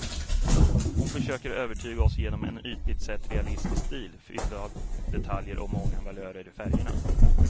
Hon försöker övertyga oss genom en ytligt sett realistisk stil, fylld av detaljer och många valörer i färgerna.